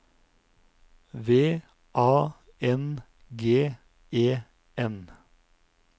V A N G E N